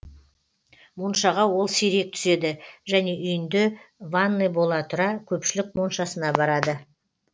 моншаға ол сирек түседі және үйінде ванный бола тұра көпшілік моншасына барады